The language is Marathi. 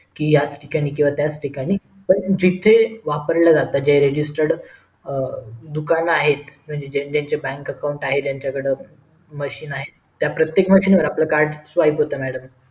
कि याचा ठिकाणी किंवा त्याच ठिकाणी पण जिथे वापरलं जात जे register दुकान आहे म्हणजे ज्यांचे bank account आहे ज्यांच्या कडे मशीन आहे त्या प्रत्येक मशीन वर आपल card swap होत madam